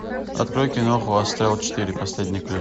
открой киноху астрал четыре последний ключ